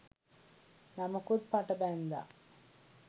නමකුත් පට බැන්දා